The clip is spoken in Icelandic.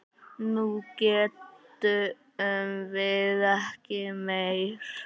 Nú getum við ekki meir.